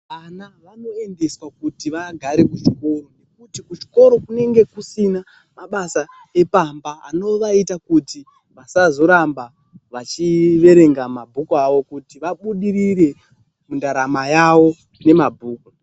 Ana vanoendeswa kuti vaagare kuchikoro, nekuti kuchikoro kunenge kusina mabasa epamba, anovaita kuti vasazoramba vachiverenga mabhuku avo kuti vabudirire mundaramo yawo nemabhuku.